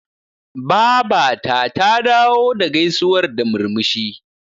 Babata ta dawo da gaisuwar da murmushi.